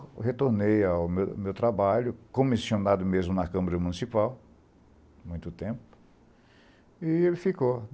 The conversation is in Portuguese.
Eu retornei ao meu trabalho, comissionado mesmo na Câmara Municipal, muito tempo, e ele ficou.